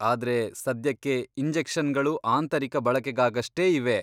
ಆದ್ರೆ, ಸದ್ಯಕ್ಕೆ ಇಂಜೆಕ್ಷನ್ಗಳು ಆಂತರಿಕ ಬಳಕೆಗಾಗಷ್ಟೇ ಇವೆ.